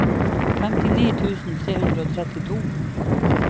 femtini tusen tre hundre og trettito